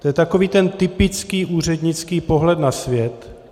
To je takový ten typický úřednický pohled na svět.